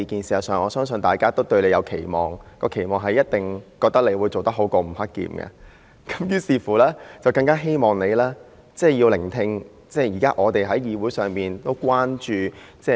事實上，我相信大家都對你有所期望，覺得你一定會做得比吳克儉好，於是更加希望你聆聽我們現時在議會所提出的關注事項。